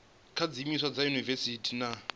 kha zwiimiswa sa dziyunivesiti na